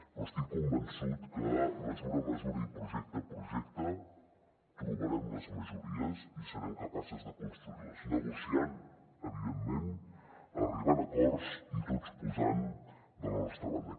però estic convençut que mesura a mesura i projecte a projecte trobarem les majories i serem capaces de construir les negociant evidentment arribant a acords i tots posant de la nostra banda